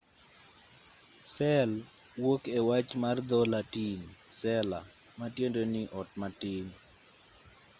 sel wuok e wach mar dho-latin cella ma tiende ni ot matin